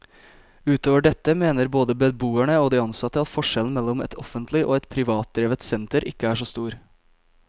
Utover dette mener både beboerne og de ansatte at forskjellen mellom et offentlig og et privatdrevet senter ikke er så stor.